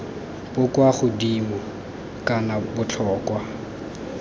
bo kwa godimo kana botlhokwa